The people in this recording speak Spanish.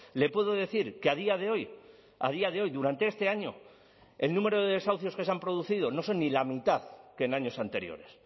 le puedo decir que a día de hoy a día de hoy durante este año el número de desahucios que se han producido no son ni la mitad que en años anteriores